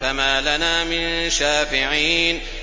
فَمَا لَنَا مِن شَافِعِينَ